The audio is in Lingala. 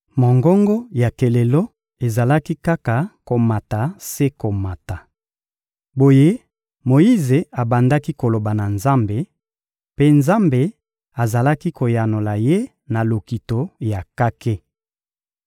Mongongo ya kelelo ezalaki kaka komata se komata. Boye Moyize abandaki koloba na Nzambe, mpe Nzambe azalaki koyanola ye na lokito ya kake.